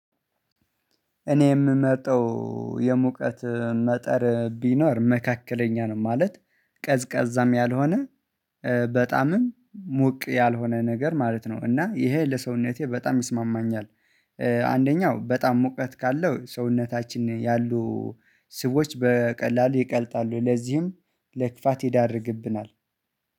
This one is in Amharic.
እኔ የምመጣው የሙቀት መጠን ቢኖር መካከለኛ ነው ማለት ቀዝቃዛም ያልሆነ በጣምም ሙቅ ያልሆነ ነገር ማለት ነው። እና ይሄ ለሰውነቴ በጣም ይስማማኛል። አንደኛው በጣም ሙቀት ካለው ሰውነታችን ያሉ ስቦች በቀላሉ ይቀልጣሉ ለዚህም ለክፋት ይዳርግብናል